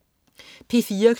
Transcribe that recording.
P4: